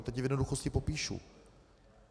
A teď je v jednoduchosti popíšu.